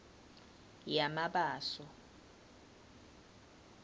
yamabaso